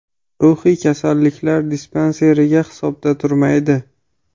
Ruhiy kasalliklar dispanseriga hisobda turmaydi.